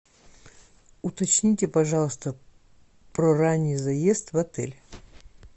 уточните пожалуйста про ранний заезд в отель